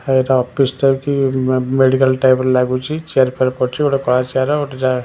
ଏଇଟା ଅଫିସ୍ ଟା କି ମେ ମେଡିକାଲ୍ ଟାଇପ୍ ର ଲାଗୁଚି ଚେୟାର୍ ଫେୟାର୍ ପଡ଼ିଚି ଗୋଟେ କଳା ଚେୟାର ଗୋଟେ ଯା--